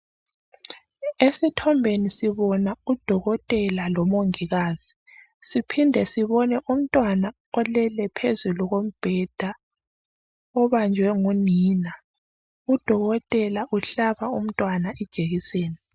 Esithombeni sibona UDokotela lomongikazi siphinde sibone umntwana olele phezulu kobheda obanjwe ngunina Udokotela uhlaba umntwana ijekiseni.